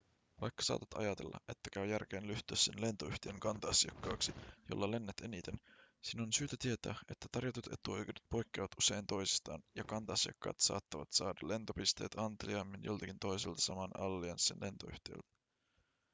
vaikka saatat ajatella että käy järkeen ryhtyä sen lentoyhtiön kanta-asiakkaaksi jolla lennät eniten sinun on syytä tietää että tarjotut etuoikeudet poikkeavat usein toisistaan ja kanta-asiakkaat saatavat saada lentopisteitä anteliaammin joltakin toiselta saman allianssin lentoyhtiöltä